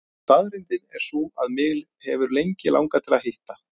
Staðreyndin er sú að mig hefur lengi langað til að hitta